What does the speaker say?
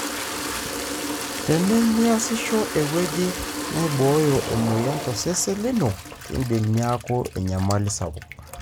Tenemiasisho eweuji naiboyo emoyian tosesen lino, kindim niaku enyamli sapuk.